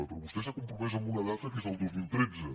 però vostè s’ha compromès amb una data que és el dos mil tretze